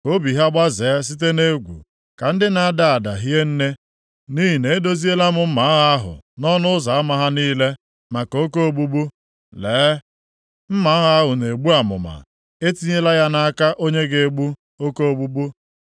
Ka obi ha gbazee site nʼegwu, ka ndị na-ada ada hie nne, nʼihi na edoziela m mma agha ahụ nʼọnụ ụzọ ama ha niile maka oke ogbugbu. Lee, mma agha ahụ na-egbu amụma, etinyela ya nʼaka onye ga-egbu oke ogbugbu.